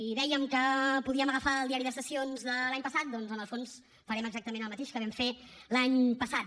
i dèiem que podíem agafar el diari de sessions de l’any passat doncs en el fons farem exactament el mateix que vam fer l’any passat